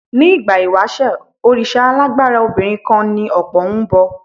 Ní ìgbà ìwàṣẹ̀, òrìṣà alágbára obinron kan tí ọ̀pọ̀ ń bọ.